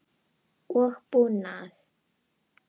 og búnað.